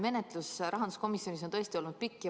Menetlus rahanduskomisjonis on tõesti olnud pikk.